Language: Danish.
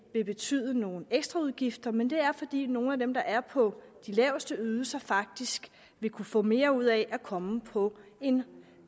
vil betyde nogle ekstra udgifter ja men det er fordi nogle af dem der er på de laveste ydelser faktisk vil kunne få mere ud af at komme på den